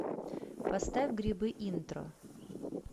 поставь грибы интро